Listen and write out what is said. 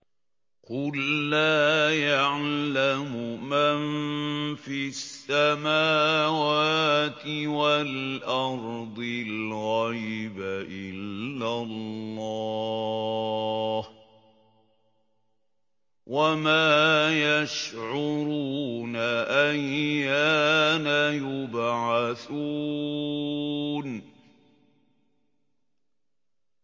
قُل لَّا يَعْلَمُ مَن فِي السَّمَاوَاتِ وَالْأَرْضِ الْغَيْبَ إِلَّا اللَّهُ ۚ وَمَا يَشْعُرُونَ أَيَّانَ يُبْعَثُونَ